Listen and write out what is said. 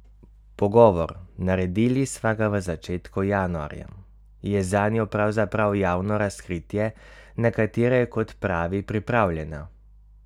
Pogovor, naredili sva ga v začetku januarja, je zanjo pravzaprav javno razkritje, na katero je, kot pravi, pripravljena.